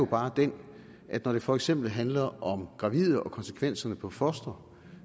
bare den at når det for eksempel handler om gravide og konsekvenserne for fostre